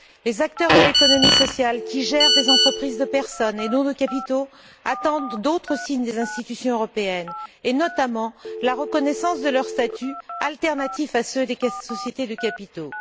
Les acteurs de l'économie sociale, qui gèrent des entreprises de personnes et non de capitaux, attendent d'autres signes des institutions européennes, et notamment la reconnaissance de leur statuts alternatifs à ceux des sociétés de capitaux.